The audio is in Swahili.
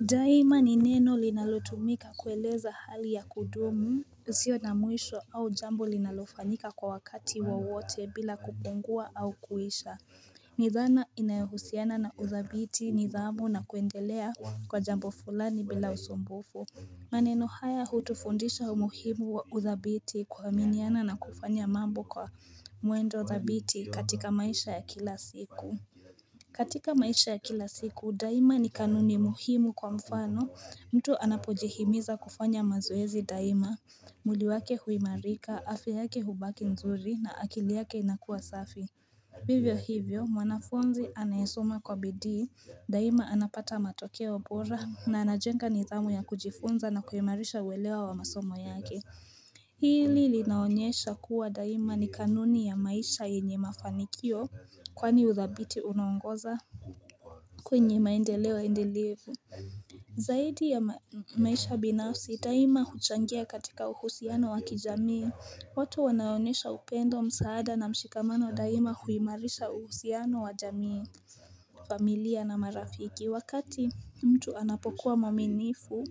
Daima ni neno linalotumika kueleza hali ya kudumu usio na mwisho au jambo linalofanyika kwa wakati wowote bila kupungua au kuisha ni dhana inayohusiana na uthabiti nidhamu na kuendelea kwa jambo fulani bila usumbufu maneno haya hutufundisha umuhimu wa uthabiti kuaminiana na kufanya mambo kwa muendo thabiti katika maisha ya kila siku katika maisha ya kila siku, daima ni kanuni muhimu kwa mfano, mtu anapojihimiza kufanya mazoezi daima, mwili wake huimarika, afya yake hubaki nzuri na akili yake inakua safi. Vivyo hivyo, mwanafunzi anayesoma kwa bidii, daima anapata matokeo bora na anajenga nidhamu ya kujifunza na kuhimarisha uelewa wa masomo yake. Hili linaonyesha kuwa daima ni kanuni ya maisha yenye mafanikio kwani uthabiti unaongoza kwenye maendeleo endelevu Zaidi ya maisha binafsi daima huchangia katika uhusiano wa kijamii watu wanaonyesha upendo msaada na mshikamano daima huimarisha uhusiano wa jamii familia na marafiki wakati mtu anapokuwa mwaminifu